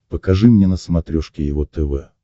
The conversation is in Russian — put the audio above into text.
покажи мне на смотрешке его тв